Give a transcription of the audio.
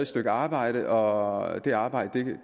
stykke arbejde og det arbejde